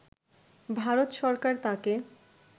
ভারত সরকার তাকে